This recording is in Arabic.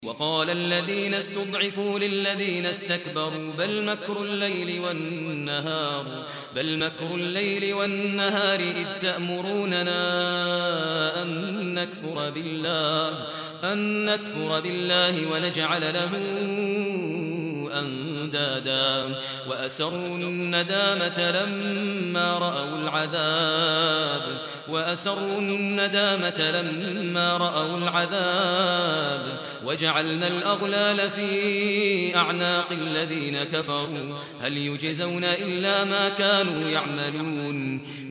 وَقَالَ الَّذِينَ اسْتُضْعِفُوا لِلَّذِينَ اسْتَكْبَرُوا بَلْ مَكْرُ اللَّيْلِ وَالنَّهَارِ إِذْ تَأْمُرُونَنَا أَن نَّكْفُرَ بِاللَّهِ وَنَجْعَلَ لَهُ أَندَادًا ۚ وَأَسَرُّوا النَّدَامَةَ لَمَّا رَأَوُا الْعَذَابَ وَجَعَلْنَا الْأَغْلَالَ فِي أَعْنَاقِ الَّذِينَ كَفَرُوا ۚ هَلْ يُجْزَوْنَ إِلَّا مَا كَانُوا يَعْمَلُونَ